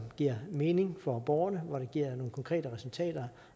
giver mening for borgerne og giver nogle konkrete resultater